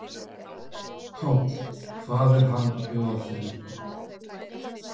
Páll: Hvað er hann að bjóða þér upp á?